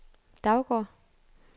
Daugård